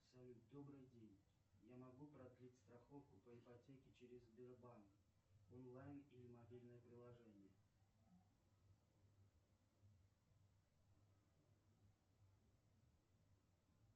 салют добрый день я могу продлить страховку по ипотеке через сбербанк онлайн или мобильное приложение